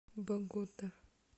богота